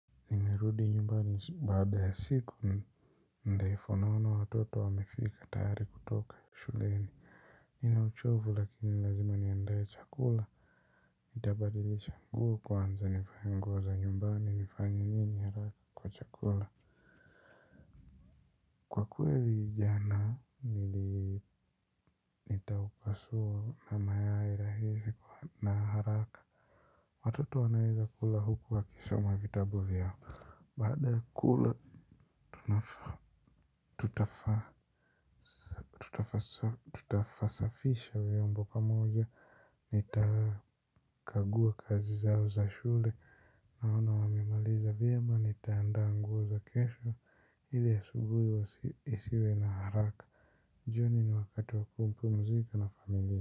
Nmerudi nyumbani baada ya siku ndefu mno, watoto wamefika tayari kutoka shuleni. Ninauchovu lakini lazima niandae chakula, nitabadilisha nguo kwanza nivae nguo za nyumbani nifanye nini haraka kwa chakula kwa kweli jana nili nitaupasua haya mayai rahisi na haraka kwa kweli, jana nili nitaupasua haya mayai rahisi na haraka watoto wanaweza kula huku wakisoma vitabu vyao baada kula tutayasafisha vyombo kwa pamoja naona wamemaliza vyema, nitaandaa nguo za kesho ili asubuhi wasiwe na haraka. Jioni ni wakati wakumpumzika na familia.